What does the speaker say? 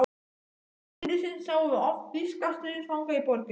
Undir lok stríðsins sáum við oft þýska stríðsfanga í borginni.